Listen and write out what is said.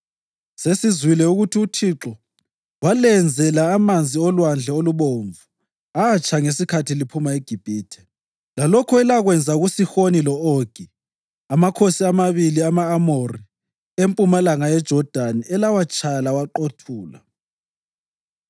Sesizwile ukuthi uThixo walenzela amanzi oLwandle Olubomvu atsha ngesikhathi liphuma eGibhithe, lalokho elakwenza kuSihoni lo-Ogi amakhosi amabili ama-Amori empumalanga yeJodani elawatshaya lawaqothula.